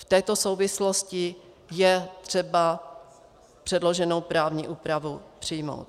V této souvislosti je třeba předloženou právní úpravu přijmout.